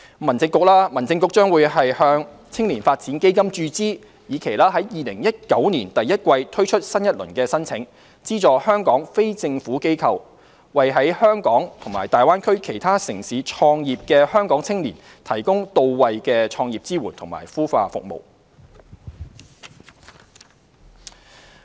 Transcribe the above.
民政局將向"青年發展基金"注資，以期在2019年第一季推出新一輪申請，資助香港非政府機構為在香港與大灣區其他城市創業的香港青年提供到位的創業支援及孵化服務。